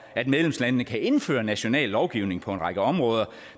at medlemslandene kan indføre national lovgivning på en række områder